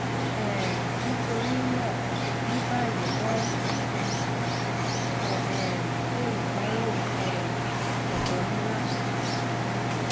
um nitorina ni bayi wọn sọ um pe idanwo um ẹdọ ni lati ṣe